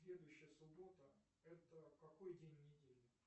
следующая суббота это какой день недели